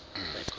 ii ha bo na le